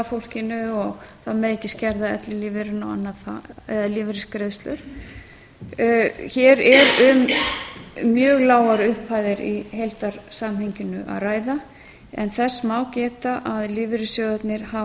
fólkinu og það megi ekki skerða ellilífeyrinn eða lífeyrisgreiðslur hér er um mjög lágar upphæðir í heildarsamhenginu að ræða en þess má geta að lífeyrissjóðirnir